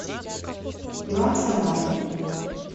билан в самаре